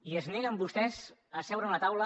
i es neguen vostès a seure en una taula